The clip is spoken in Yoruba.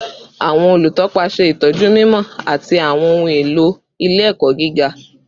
Awọn olutọpa ṣe itọju mimọ ti awọn ohun elo ile-ẹkọ giga